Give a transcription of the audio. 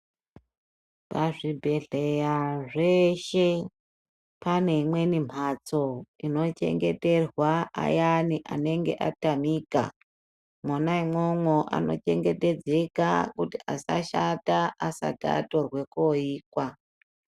Pazvibhedhleya zveshe pane imweni mbatso inochengeterwa ayani anenge atamika, mwona imwomwo anochengetedzeka kuti asashata asati atorwe koikwa.